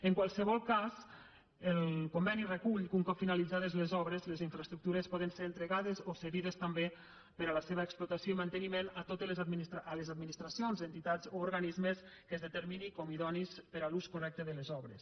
en qualsevol cas el conveni recull que un cop finalitzades les obres les infraestructures poden ser entregades o cedides també per a la seva explotació i manteniment a les administracions entitats o organismes que es determinin com a idonis per a l’ús correcte de les obres